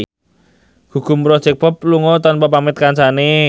Gugum Project Pop lunga tanpa pamit kancane